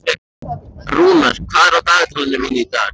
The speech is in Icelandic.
Rúnar, hvað er á dagatalinu mínu í dag?